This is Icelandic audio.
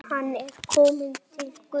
Hann er kominn til Guðs.